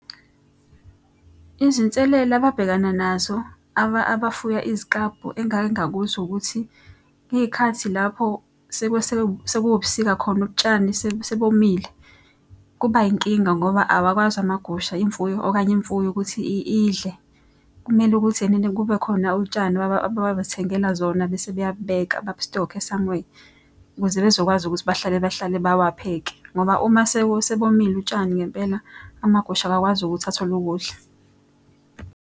Izinselela ababhekana nazo abafuya iziklabhu engake ngakuzwa ukuthi, ngey'khathi lapho sekuwubusika khona utshani sebomile. Kuba yinkinga ngoba awakwazi amagusha, imfuyo okanye imfuyo ukuthi idle. Kumele ukuthi ena ena kube khona utshani abathengela zona, bese beyabubeka, babustokhe somwhere. Ukuze bezokwazi ukuthi bahlale bahlale bawapheke ngoba uma sebomile utshani ngempela amagusha awakwazi ukuthi athole ukudla.